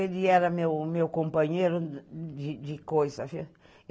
Ele era o meu companheiro de coisa.